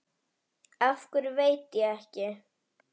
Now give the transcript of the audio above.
Af hverju veit ég ekki.